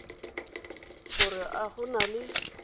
gore a go na le